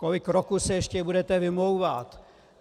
Kolik roků se ještě budete vymlouvat?